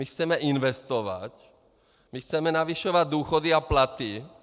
My chceme investovat, my chceme zvyšovat důchody a platy.